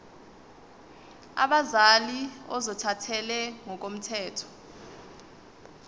abazali ozothathele ngokomthetho